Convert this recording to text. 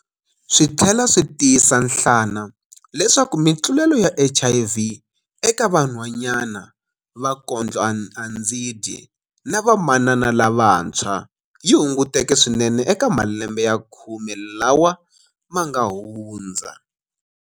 Swi tlhela swi tiyisa nhlana leswaku mitlulelo ya HIV eka vanhwanyana va kondlo-andzi-dyi na vamanana lavantshwa yi hunguteke swinene eka malembe ya khume lawa ma nga hundza.